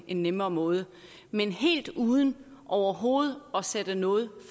en nemmere måde men helt uden overhovedet at sætte noget